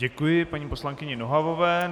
Děkuji paní poslankyni Nohavové.